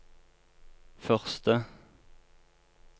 første